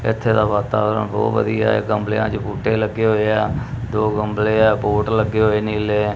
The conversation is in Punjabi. ਇਥੇ ਦਾ ਵਾਤਾਵਰਣ ਬਹੁਤ ਵਧੀਆ ਆ ਗਮਲਿਆਂ ਚ ਬੂਟੇ ਲੱਗੇ ਹੋਏ ਆ ਦੋ ਗਮਲੇ ਆ ਪੋਟ ਲੱਗੇ ਹੋਏ ਨੀਲੇ।